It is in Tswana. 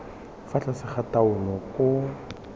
fa tlase ga taolo koo